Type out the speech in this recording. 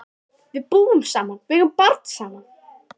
Við búum saman og eigum barn saman.